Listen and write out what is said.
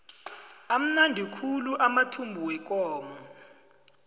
amnandi khulu amathumbu wekomo